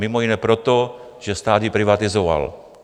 Mimo jiné proto, že stát ji privatizoval.